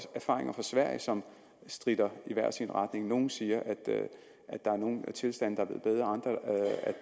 erfaringer fra sverige som stritter i hver sin retning nogle siger at nogle tilstande